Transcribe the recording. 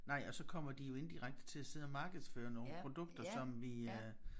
Nej og så kommer de jo indirekte til at sidde og markedsføre nogle produkter som vi øh